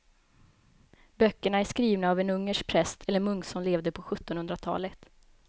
Böckerna är skrivna av en ungersk präst eller munk som levde på sjuttonhundratalet.